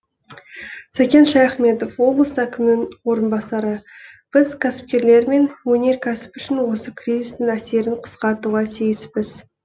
сәкен шаяхметов облыс әкімінің орынбасары біз кәсіпкерлер мен өнеркәсіп үшін осы кризистің әсерін қысқартуға тиіспіз